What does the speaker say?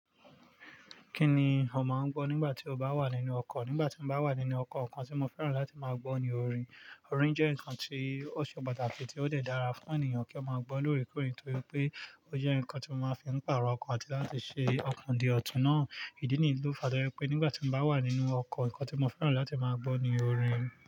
Kí ni ọ máa ń gbọ́ nígbà tí o bá wà nínú ọkọ̀? Nígbà tí mo bá wà nínú ọkọ̀, nǹkan tí mo fẹ́ràn láti máa gbọ́ ni orin. Orin jẹ́ nǹkan tí ó ṣe pàtàkì tí ó de dàra fún ènìyàn kí ó máa gbọ́ lóòrèkóòrè torípé ó jẹ́ nǹkan tí mo máa ń fi pàrọ̀ ọkọ̀ àti láti ṣe ọkọ̀ di ọ̀tún náà. Ìdí nìyẹn tó fà tójẹ́pé nígbà tí mo bá wà nínú ọkọ̀ nǹkan tí mo fẹ́ràn láti máa gbọ́ ni orin.